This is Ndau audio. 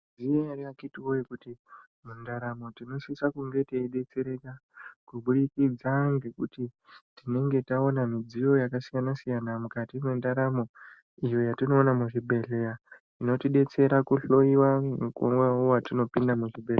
Mwaizviziya ere akiti wee kuti mundaramo tinosisa kunge teidetsereka kubudikidza ngekuti tinenge taona midziyo yakasiyana siyana mukati mwendaramo iyo yatinoona muzvibhedhlera inotidetsera kuhloyiwa mukuwo watinopinda muzvibhedhlera.